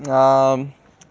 аа